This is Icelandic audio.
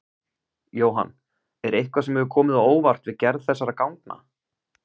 Jóhann: Er eitthvað sem hefur komið á óvart við gerð þessara gangna?